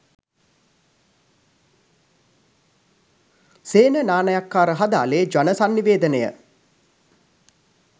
සේන නානායක්කාර හදාළේ ජන සන්නිවේදනය.